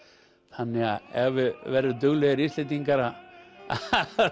þannig að ef við verðum duglegir Íslendingar að